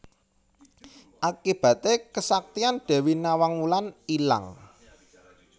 Akibaté kesaktian Dewi Nawang Wulan ilang